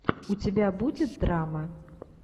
у тебя будет драма